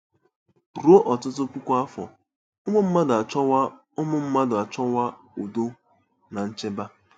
Ruo ọtụtụ puku afọ, ụmụ mmadụ achọwo ụmụ mmadụ achọwo udo na nchebe.